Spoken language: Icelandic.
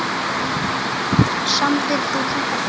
Samdir þú þetta bréf?